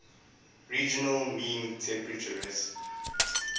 regional mean temperaturess